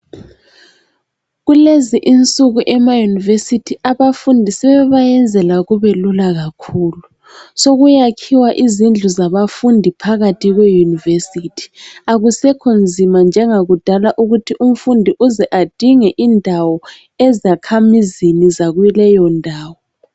Kulezi insuku emaUniversity abafundi sebebayenzela kubelula kakhulu. Sokuyakhiwa izindlu zabafundi phakathi kwe University. Akusekho nzima njengakudala ukuthi umfundi uze adinge indawo ezakhamizini zakuleyo ndawo.